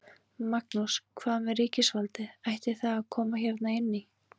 Magnús: Hvað með ríkisvaldið, ætti það að koma hérna inn í?